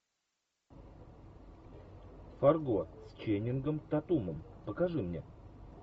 фарго с ченнингом татумом покажи мне